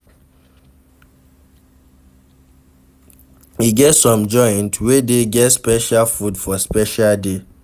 E get some joint wey dey get special food for special day